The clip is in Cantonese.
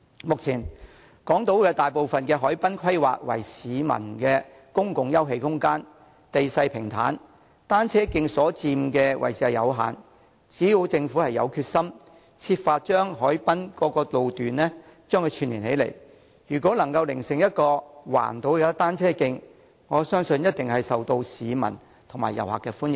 目前，港島大部分海濱規劃為市民的公共休憩空間，地勢平坦，單車徑所佔的位置有限，只要政府有決心，設法將海濱各路段串連起來，成為環島單車徑，我相信一定會受市民和遊客歡迎。